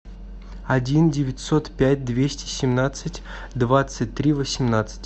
один девятьсот пять двести семнадцать двадцать три восемнадцать